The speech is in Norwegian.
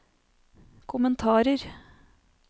kommentarer